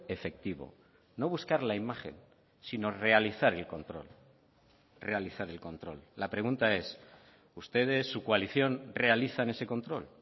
efectivo no buscar la imagen sino realizar el control realizar el control la pregunta es ustedes su coalición realizan ese control